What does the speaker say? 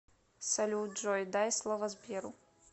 салют джой дай слово сберу